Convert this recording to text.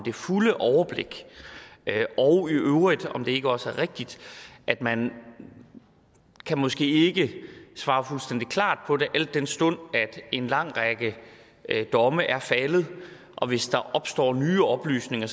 fulde overblik og om det ikke også er rigtigt at man måske ikke kan svare fuldstændig klart på det al den stund en lang række domme er faldet og hvis der opstår nye oplysninger